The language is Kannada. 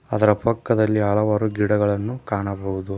ಅದರ ಪಕ್ಕದಲ್ಲಿ ಹಲವಾರು ಗಿಡಗಳನ್ನು ಕಾಣಬಹುದು.